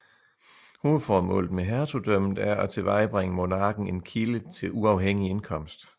Hovedformålet med hertugdømmet er at tilvejebringe monarken en kilde til uafhængig indkomst